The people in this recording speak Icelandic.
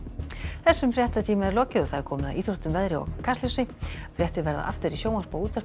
þessum fréttatíma er lokið og komið að íþróttum veðri og Kastljósi fréttir verða aftur í sjónvarpi og útvarpi